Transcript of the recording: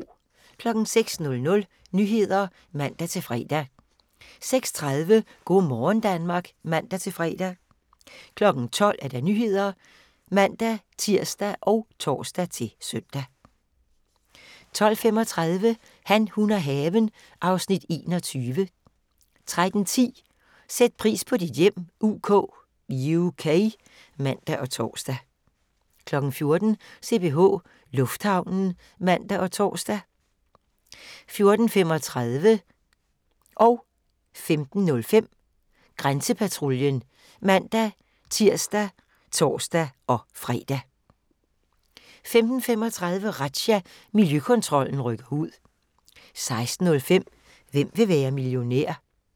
06:00: Nyhederne (man-fre) 06:30: Go' morgen Danmark (man-fre) 12:00: Nyhederne (man-tir og tor-søn) 12:35: Han, hun og haven (Afs. 21) 13:10: Sæt pris på dit hjem UK (man og tor) 14:00: CPH Lufthavnen (man og tor) 14:35: Grænsepatruljen (man-tir og tor-fre) 15:05: Grænsepatruljen (man-tir og tor-fre) 15:35: Razzia – Miljøkontrollen rykker ud 16:05: Hvem vil være millionær?